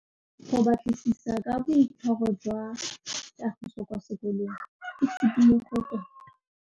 Go batlisisa ka boitshwaro jwa Kagiso kwa sekolong ke tshikinyêgô tota.